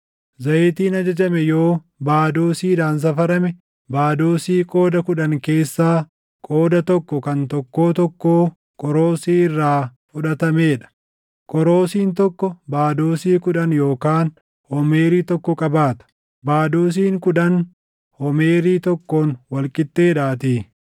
Zayitiin ajajame yoo baadoosiidhaan safarame, baadoosii qooda kudhan keessaa qooda tokko kan tokkoo tokkoo qoroosii + 45:14 Qoroosiin tokko kiiloo giraamii 400. irraa fudhatamee dha. Qoroosiin tokko baadoosii kudhan yookaan homeerii tokko qabaata; baadoosiin kudhan homeerii tokkoon wal qixxeedhaatii.